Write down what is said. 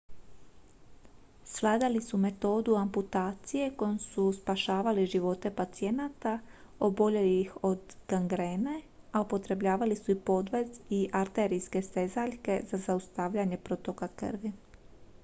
svladali su metodu amputacije kojom su spašavali živote pacijenta oboljelih od gangrene a upotrebljavali su i podvez i arterijske stezaljke za zaustavljanje protoka krvi